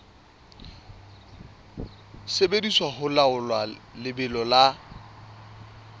sebediswa ho laola lebelo la